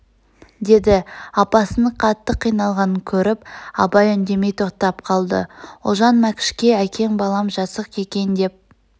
дед апасының қатты қиналғанын көріп абай үндемей тоқтап қалды ұлжан мәкшке әкең балам жасық екен деп